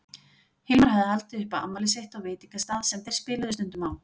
Hilmar hafði haldið upp á afmælið sitt á veitingastað sem þeir spiluðu stundum á.